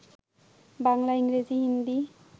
বাংলা, ইংরেজি, হিন্দি